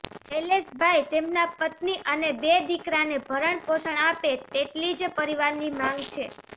શૈલેષભાઇ તેમના પત્ની અને બે દીકરાને ભરણ પોષણ આપે તેટલી જ પરિવારની માંગ છે